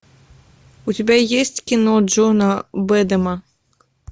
у тебя есть кино джона бэдэма